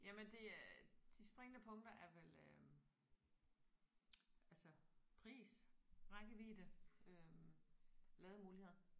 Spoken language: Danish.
Jamen det øh de springende punkter er vel øh altså pris rækkevidde øh lademuligheder